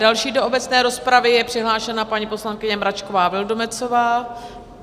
Další do obecné rozpravy je přihlášena paní poslankyně Mračková Vildumetzová.